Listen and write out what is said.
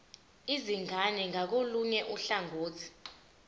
izingane ngakolunye uhlangothi